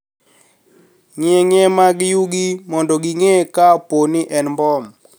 Ng`ieng`ie mak yugi mondo ging`e ka po ni en mbom